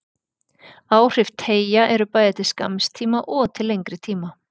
Áhrif teygja eru bæði til skamms tíma og til lengri tíma.